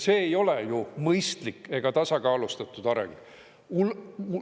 See ei ole ju mõistlik ega tasakaalustatud areng.